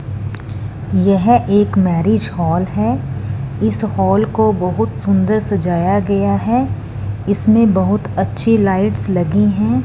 यह एक marriage hall हैं इस हॉल को बहुत सुंदर सजाया गया हैं इसमें बहुत अच्छी लाइट्स लगी हैं।